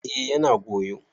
eh yana goyo